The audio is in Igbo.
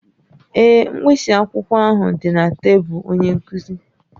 Ee, mkpịsị akwụkwọ ahụ dị na tebụl onye nkuzi